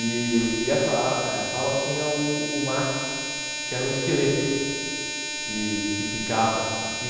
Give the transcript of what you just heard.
E essa ah essa aula tinha o o Max, que era um esqueleto que que ficava aqui.